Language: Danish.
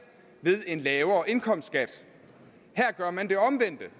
ved en lavere indkomstskat her gør man det omvendte